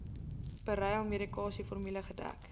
beryl medikasieformule gedek